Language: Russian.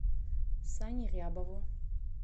сане рябову